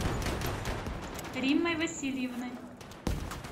риммой васильевной